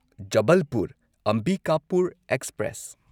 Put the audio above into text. Jabalpur Ambikapur express